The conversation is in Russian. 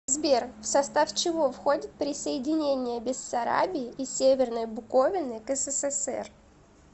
сбер в состав чего входит присоединение бессарабии и северной буковины к ссср